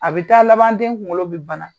A bɛ taa laban den kunkolo bɛ bana.